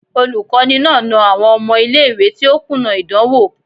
Olukọni na na awọn ọmọ ile-iwe ti o kuna idanwo